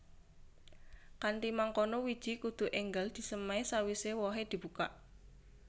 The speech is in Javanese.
Kanthi mangkono wiji kudu énggal disemai sawisé wohé dibukak